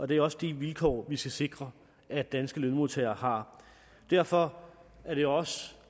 det er også de vilkår vi skal sikre at danske lønmodtagere har derfor er det også